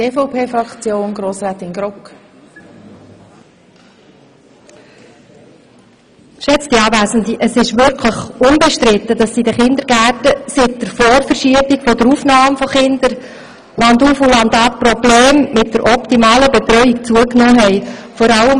Es ist wirklich unbestritten, dass seit der Vorverschiebung des Stichtags für die Aufnahme von Kindern in den Kindergärten landauf, landab die Betreuungsprobleme zugenommen haben.